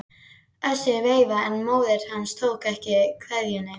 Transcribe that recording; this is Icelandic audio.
Össur veifaði en móðir hans tók ekki kveðjunni.